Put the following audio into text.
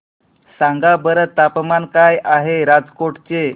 सांगा बरं तापमान काय आहे राजकोट चे